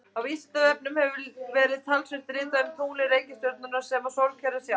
Á Vísindavefnum hefur einnig verið talsvert ritað um tunglin, reikistjörnurnar sem og sólkerfið sjálft.